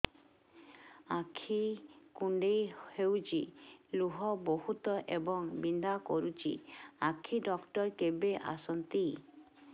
ଆଖି କୁଣ୍ଡେଇ ହେଉଛି ଲୁହ ବହୁଛି ଏବଂ ବିନ୍ଧା କରୁଛି ଆଖି ଡକ୍ଟର କେବେ ଆସନ୍ତି